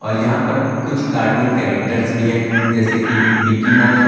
यहां पर कुछ कार्टून कैरेक्टर्स भी है जैसे कि मिक्की माउस --